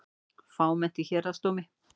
Fámennt í Héraðsdómi